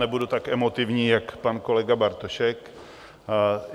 Nebudu tak emotivní jako pan kolega Bartošek.